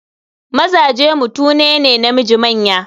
Mazaje mutune ne namiji manya.